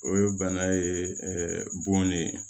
O ye bana ye bon de ye